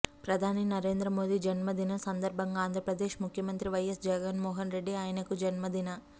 ప్రధాని నరేంద్ర మోదీ జన్మదినం సందర్బంగా ఆంధ్రప్రదేశ్ ముఖ్యమంత్రి వైఎస్ జగన్మోహన్ రెడ్డి ఆయనకు జన్మదిన